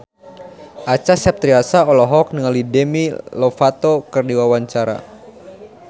Acha Septriasa olohok ningali Demi Lovato keur diwawancara